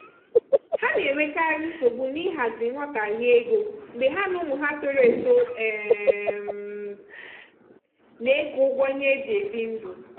ha na-enwekarị nsogbu n'ịhazi nghọtahie ego mgbe ha na ụmụ ha toro eto um na-eke ụgwọ ihe eji ebi ndụ.